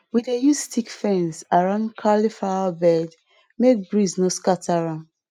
we dey use stick fence around cauliflower bed make breeze no scatter am